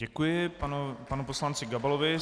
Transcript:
Děkuji panu poslanci Gabalovi.